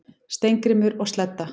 Steingrímur og Sledda,